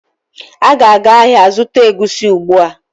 Ị ga-aga ahịa zụta egusi ugbu a!